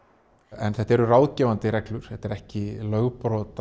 en þetta eru ráðgefandi reglur þetta er ekki lögbrot